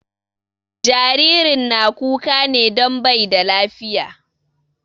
Jaririn na kuka ne don bai da lafiya